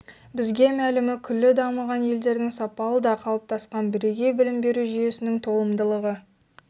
бізге мәлімі күллі дамыған елдердің сапалы да қалыптасқан бірегей білім беру жүйесінің толымдылығы